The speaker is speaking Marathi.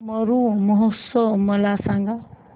मरु महोत्सव मला सांग